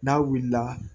N'a wulila